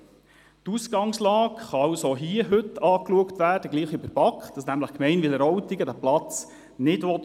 Die Ausgangslage kann also hier und heute gleich wie in der BaK angeschaut werden, nämlich, dass die Gemeinde Wileroltigen diesen Platz per se nicht will.